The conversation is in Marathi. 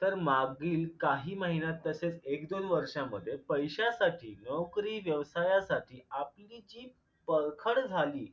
तर मागील काही महिन्यात तसेच एक दोन वर्षांमध्ये पैशासाठी नोकरी व्यवसायासाठी आपली जी परखड झाली